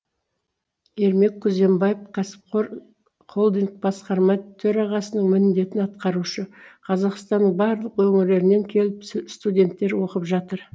ермек күзембаев кәсіпқор холдинг басқарма төрағасының міндетін атқарушы қазақстанның барлық өңірлерінен келіп с студенттер оқып жатыр